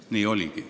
Nii oligi.